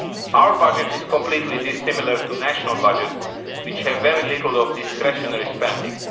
Our budget is completely dissimilar to national budgets, which have very little discretionary spending.